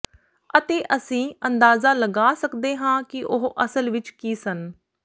ਅਤੇ ਅਸੀਂ ਅੰਦਾਜ਼ਾ ਲਗਾ ਸਕਦੇ ਹਾਂ ਕਿ ਉਹ ਅਸਲ ਵਿੱਚ ਕੀ ਸਨ